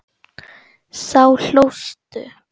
Þá hlóstu.